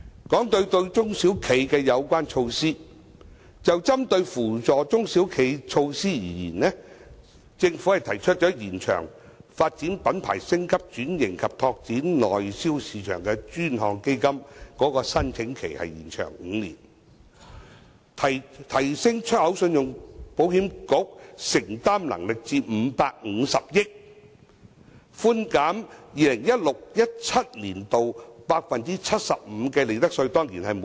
談到對中小企的有關措施，就針對扶助中小企的措施而言，政府提出延長"發展品牌、升級轉型及拓展內銷市場的專項基金"的申請期5年、提升出口信用保險局的承擔能力至550億元、寬減 2016-2017 年度 75% 利得稅。